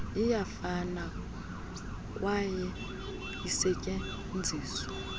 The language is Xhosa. iyafana kwaye isetyenziswa